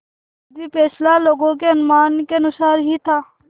यद्यपि फैसला लोगों के अनुमान के अनुसार ही था